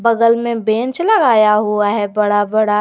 बगल में बेंच लगाया हुआ है बड़ा बड़ा।